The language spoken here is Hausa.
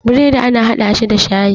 bredi ana hada shi da shayi